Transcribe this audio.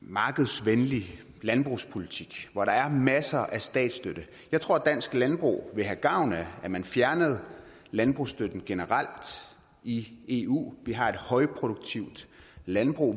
markedsvenlig landbrugspolitik hvor der er masser af statsstøtte jeg tror dansk landbrug ville have gavn af at man fjernede landbrugsstøtten generelt i eu vi har et højproduktivt landbrug